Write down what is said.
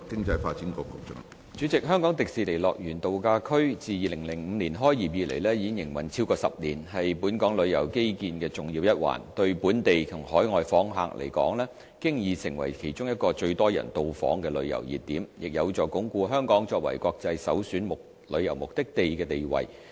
主席，香港迪士尼樂園度假區自2005年開業以來，已營運超過10年，是本港旅遊基建的重要一環，對本地及海外訪客來說，已經成為其中一個最多人到訪的旅遊熱點，亦有助鞏固香港作為國際首選旅遊目的地的地位。